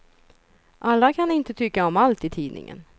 Alla kan inte tycka om allt i tidningen.